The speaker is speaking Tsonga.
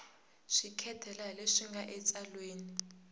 seketela hi leswi nga etsalweni